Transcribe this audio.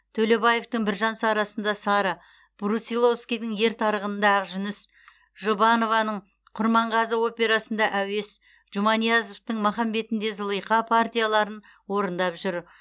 төлебаевтың біржан сарасында сара брусиловскийдің ер тарғынында ақжүніс жұбанованың құрманғазы операсында әуес жұманиязовтың махамбетінде зылиха партияларын орындап жүр